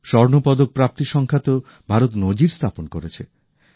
স্বর্ণপদক প্রাপ্তি সংখ্যাতেও ভারত নজির স্থাপন করেছে